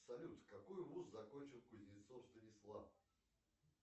салют какой вуз закончил кузнецов станислав